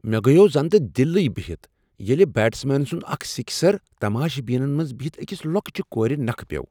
مے٘ گیوو زنتہ دِلٕے بہتھ ییلہِ بیٹس مینن سٗند اكھ سِكسر تماشہِ بینن منز بِہِتھ اكِس لوكٕچہِ كورِ نكھٕ پیو٘ ۔